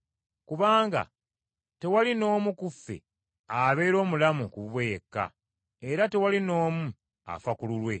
Kubanga tewali n’omu ku ffe abeera omulamu ku bubwe yekka, era tewali n’omu afa ku lulwe.